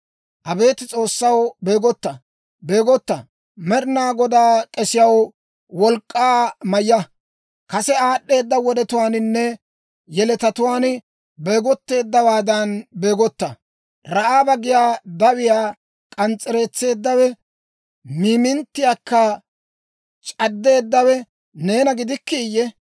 Abeet S'oossaw, beegotta! Beegotta! Med'inaa Godaa k'esiyaw, wolk'k'aa mayya; kase aad'd'eeda wodetuwaaninne yeletatuwaan beegotteeddawaadan beegotta. Ra'aaba giyaa dawiyaa k'ans's'ereetseeddawe, miiminttiyaakka c'addeeddawe neena gidikkiiyye?